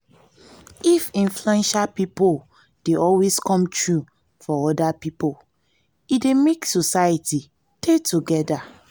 if influential pipo dey always come through for oda pipo e dey make society dey together